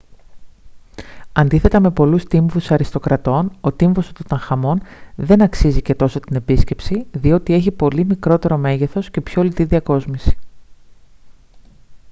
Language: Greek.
αντίθετα με πολλούς τύμβους αριστοκρατών ο τύμβος του τουταγχαμών δεν αξίζει και τόσο την επίσκεψη διότι έχει πολύ μικρότερο μέγεθος και πιο λιτή διακόσμηση